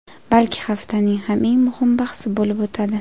balki haftaning ham eng muhim bahsi bo‘lib o‘tadi.